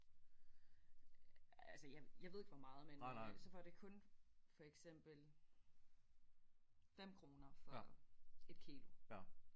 Altså jeg jeg ved ikke hvor meget men øh så får de kun for eksempel 5 kroner for et kil